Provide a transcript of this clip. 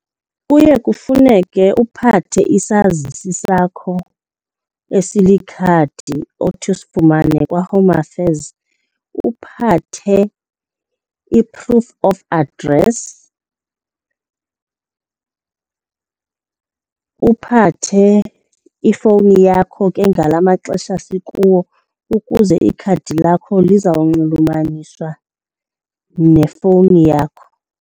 Kuye kufuneke uphathe isazisi sakho esilikhadi othi usifumane kwaHome Affairs, uphathe i-proof of address, uphathe ifowuni yakho ke ngala maxesha sikuwo ukuze ikhadi lakho lizawunxulumaniswa nefowuni yakho.